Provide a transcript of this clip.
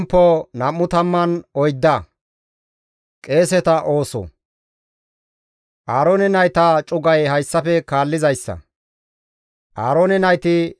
Aaroone nayta cugay hayssafe kaallizayssa; Aaroone nayti Nadaabe, Abihu, El7ezeerenne Itamaare.